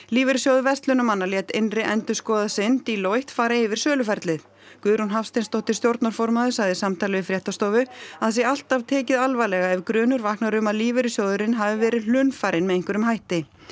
lífeyrissjóður verslunarmanna lét innri endurskoðanda sinn Deloitte fara yfir söluferlið Guðrún Hafsteinsdóttir stjórnarformaður sagði í samtali við fréttastofu að það sé alltaf tekið alvarlega ef grunur vaknar um að lífeyrissjóðurinn hafi verið hlunnfarinn með einhverjum hætti